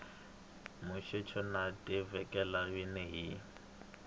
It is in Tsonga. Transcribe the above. musecho no tekela nhundzu hi